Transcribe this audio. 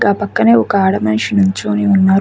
గా పక్కనే ఒక ఆడ మనిషి నుంచోని ఉన్నారు.